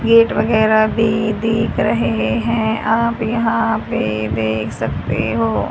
Gate वगैरा भी देख रहे हैं। आप यहां पे देख सकते हो।